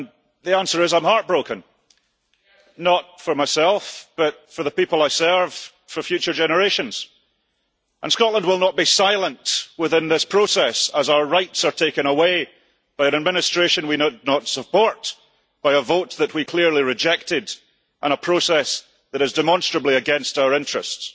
The answer is, I am heartbroken, not for myself, but for the people I serve, for future generations. Scotland will not be silent within this process, as our rights are taken away by an administration we do not support, by a vote that we clearly rejected and a process that is demonstrably against our interests.